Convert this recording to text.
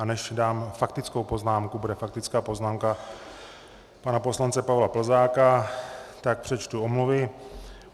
A než dám faktickou poznámku - bude faktická poznámka pana poslance Pavla Plzáka - tak přečtu omluvy.